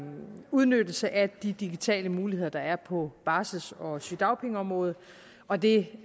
udnyttelse af de digitale muligheder der er på barsel og sygedagpengeområdet og det